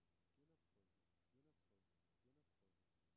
genoptrykke genoptrykke genoptrykke